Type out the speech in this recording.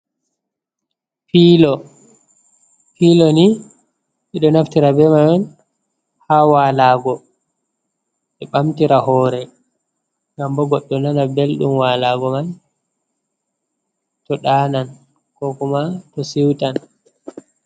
"Pilo "pilo ni mido naftira be mai on ha walago be bamtira hore gambo goɗɗo nana beldum walago man to ɗanan ko kuma to siutan.